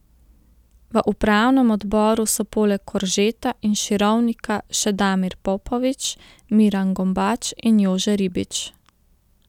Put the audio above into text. V upravnem odboru so poleg Koržeta in Širovnika še Damir Popović, Miran Gombač in Jože Ribič.